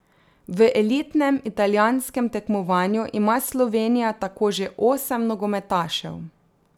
V elitnem italijanskem tekmovanju ima Slovenija tako že osem nogometašev.